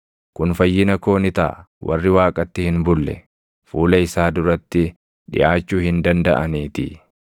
Kun fayyina koo ni taʼa; warri Waaqatti hin bulle fuula isaa duratti dhiʼaachuu hin dandaʼaniitii!